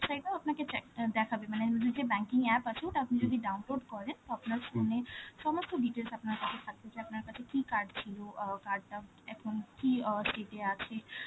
site এও আপনাকে চেক~ দেখাবে, মানে যে banking app , ওটা আপনি যদি download করেন, তো আপনার phone এ সমস্ত details আপনার কাছে , আপনার কাছে কি card ছিল, অ্যাঁ card টা এখন কি অ্যাঁstate এ আছে,